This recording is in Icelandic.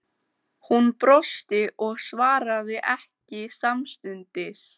Svenni fær nánari fréttir af nýjustu misklíðinni síðar um kvöldið.